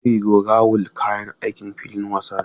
Meri go rawul kayan aikin filin wasa ne.